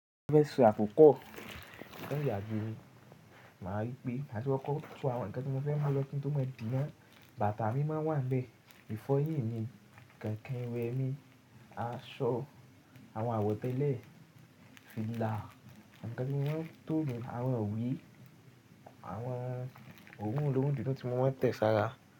Mo fẹ́ sọ àkókò tó ń yàgbe mi, màá rí pé màti kọ́kọ tó àwọn ǹkan tí mo fẹ́ mú lọ́ kí n tó mọ̀ di náà, bàtà mi máa ń wà níbẹ̀. Ìfọyín mi, kẹ̀ǹkẹ́ iwẹ mi, aṣọ, àwọn àwọ̀tẹ́lẹ̀, fìlà, àwọn ǹkan tí mo máa ń to nuu, àwọn ìwé, àwọn òrun oloorun dídùn tí mo mọ̀ tẹ́ẹ̀ sára.